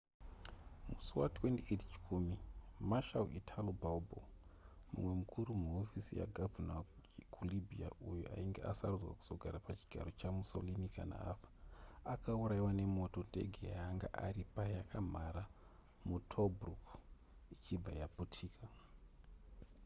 musi wa28 chikumi marshal italo balbo mumwe mukuru muhofisi yagavhuna kulibya uyo ainge akasarudzwa kuzogara pachigaro chamussolini kana afa akaurayiwa nemoto ndege yaanga ari payakamhara mutobruk ichibva yaputika